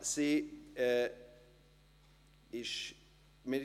Sie legt das Gelübde ab.